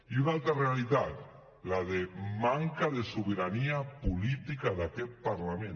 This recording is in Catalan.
i una altra realitat la de manca de sobirania política d’aquest parlament